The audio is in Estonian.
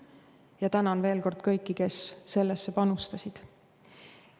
Ja tänan veel kord kõiki, kes sellesse panustasid.